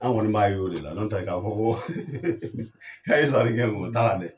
An kɔni b'a y'o de la, n'o tɛ k'a fɔ ko a ye sarali kɛ o t'a la dɛ.